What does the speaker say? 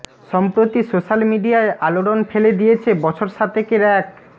সম্প্রতি সোশ্য়াল মিডিয়ায় আলোড়ন ফেলে দিয়েছে বছর সাতেকের এক